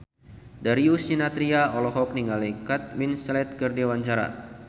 Darius Sinathrya olohok ningali Kate Winslet keur diwawancara